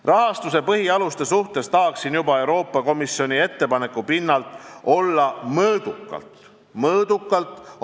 Rahastuse põhialuste suhtes tahaksin juba Euroopa Komisjoni ettepaneku pinnalt olla mõõdukalt – mõõdukalt!